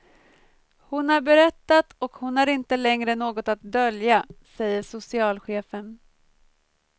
Hon har berättat och hon har inte längre något att dölja, säger socialchefen.